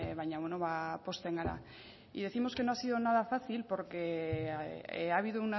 baina pozten gara decimos que no ha sido nada fácil porque ha habido